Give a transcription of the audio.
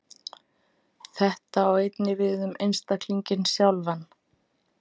Þetta á einnig við um einstaklinginn sjálfan.